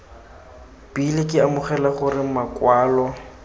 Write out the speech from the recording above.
bile ke amogela gore makwalo